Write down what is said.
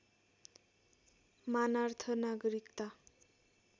मानार्थ नागरिकता